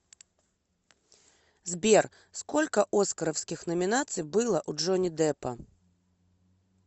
сбер сколько оскаровских номинаций было у джонни деппа